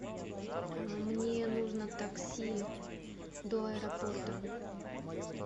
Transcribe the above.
мне нужно такси до аэропорта